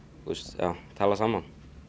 já tala saman